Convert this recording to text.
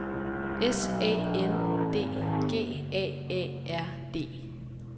S A N D G A A R D